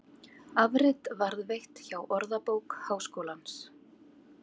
Afrit varðveitt hjá Orðabók Háskólans.